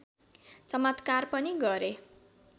चमत्कार पनि गरे